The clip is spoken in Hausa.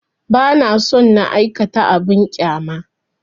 Ba na so na aikata abin ƙyama